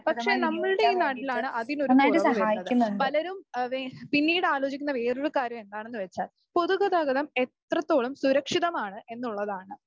പക്ഷേ നമ്മളുടെ ഈ നാട്ടിലാണ് അതിനൊരു കുറവ് വരുന്നത്. പലരും ആഹ് പിന്നീടാലോചിക്കുന്ന വേറൊരു കാര്യം എന്താണെന്ന് വെച്ചാൽ പൊതുഗതാഗതം എത്രത്തോളം സുരക്ഷിതമാണ് എന്നുള്ളതാണ്.